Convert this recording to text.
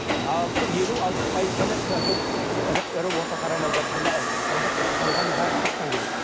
елу алпыс пайыз ғана әлгі ірі ірі орта қара малдардікін сонда қалғаны бәрі сырттан келеді